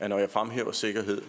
at når jeg fremhæver sikkerhed